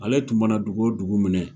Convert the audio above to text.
Ale tun mana dugu o dugu minɛ